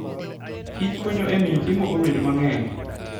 kichkonyo e miyo chiemo obed mang'eny.